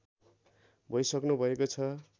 भइसक्नुभएको छ